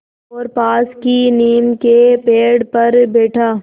और पास की नीम के पेड़ पर बैठा